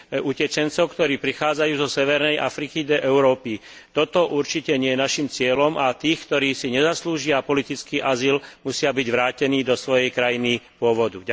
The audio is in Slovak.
utečencov, ktorí prichádzajú zo severnej Afriky do Európy. Toto určite nie je naším cieľom a tí, ktorí si nezaslúžia politický azyl, musia byť vrátení do svojej krajiny pôvodu.